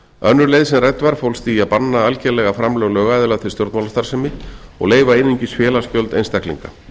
önnur leið sem rædd var fólst í að banna algerlega framlög lögaðila til stjórnmálastarfsemi og leyfa einungis félagsgjöld einstaklinga